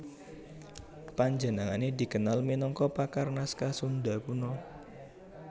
Panjenengane dikenal minangka pakar naskah Sunda Kuno